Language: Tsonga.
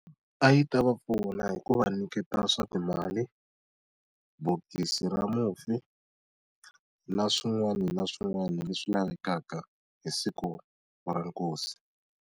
A yi ta va pfuna hi ku va nyiketa swa timali, bokisi ra mufi, na swin'wana na swin'wana leswi lavekaka hi siku ra nkosi.